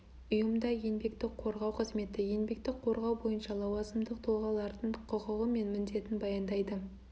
ұйымда еңбекті қорғау қызметі еңбекті қорғау бойынша лауазымдық тұлғалардың құқығы мен міндетін баяндайды